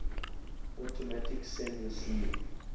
automatic send receive